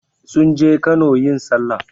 Sun je Kano yin sallah.